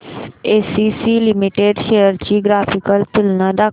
ACC limited shares ची graphical तुलना दाखव